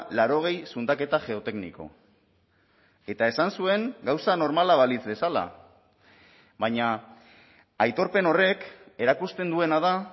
laurogei zundaketa geotekniko eta esan zuen gauza normala balitz bezala baina aitorpen horrek erakusten duena da